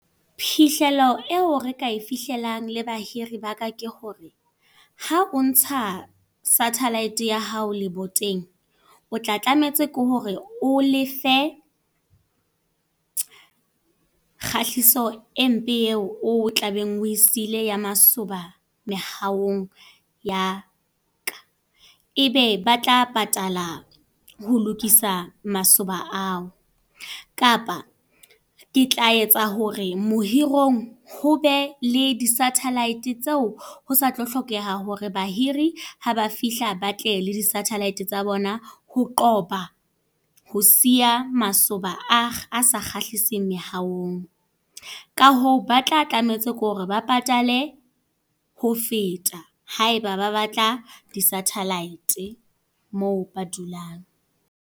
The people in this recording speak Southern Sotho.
Phihlelo eo re ka e fihlelang le bahiri ba ka ke hore, ha o ntsa satellite ya hao leboteng. O tla tlametse ke hore o lefe, kgahliso e mpe eo o tlabeng o e sile ya masoba mehaong ya ka. Ebe ba tla patala ho lokisa masoba a o. Kapa, ke tla etsa hore mohirong ho be le di-satellite tseo ho sa tlo hlokeha hore bahiri haba fihla batle le di-satellite tsa bona, ho qoba ho siya masoba a a sa kgahliseng meahong. Ka hoo ba tla tlametse kore ba patale ho feta, haeba ba batla di-satellite moo ba dulang.